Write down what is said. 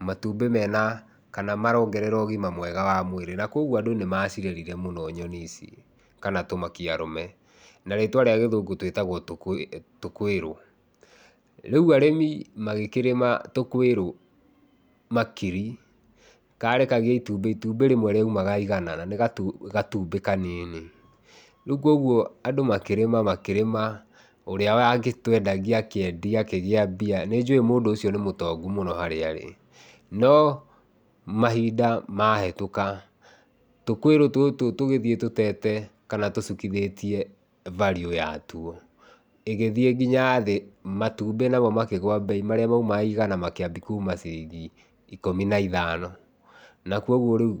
matumbĩ mena kana marongerera ũgima mwega wa mwĩrĩ, na kuogwo andũ nĩmacirerire mũno nyoni ici, kana tũmakia arũme. Na rĩtwa rĩa gĩthũngũ twĩtagwo tũkũĩrũ. Rĩu arĩmi magĩkĩrĩma tũkũĩrũ makiri, karekagia itumbĩ, itumbĩ rĩmwe rĩaumaga igana na nĩ gatumbĩ kanini. Rĩu kogwo andũ makĩrĩma makĩrĩma, ũrĩa wagĩtũendagia akĩendia akĩgĩa mbia. Nĩnjũĩ mũndũ ũcio nĩ mũtongu mũno harĩa arĩ, no mahinda mahĩtũka, tũkũĩrũ tũtũ tũgĩthiĩ tũtete kana tũcukithĩtie value yatuo, ĩgĩthiĩ kinya thĩ. Matumbĩ namo makĩgũa mbei, marĩa maumaga igana makĩambia kuma ciringi ikũmi na ithano, na kogwo rĩu